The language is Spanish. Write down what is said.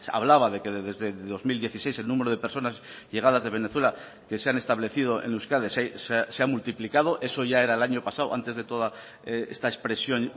hablaba de que desde dos mil dieciséis el número de personas llegadas de venezuela que se han establecido en euskadi se ha multiplicado eso ya era el año pasado antes de toda esta expresión